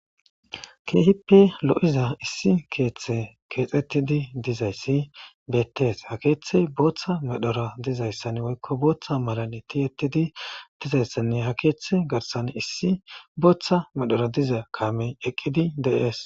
Keehippe lo'iza keethay keexetide dizayssi beettes ha keethay boththa medhora dizayssanne woykko bootha malati tihetidi dizayssanne ha keethe garssan issi booth medhoora diza kaame de's.